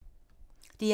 DR1